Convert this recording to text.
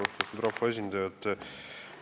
Austatud rahvaesindajad!